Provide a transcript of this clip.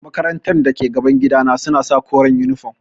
Makarantar da ke gaban gidana suna sa koren yunifom.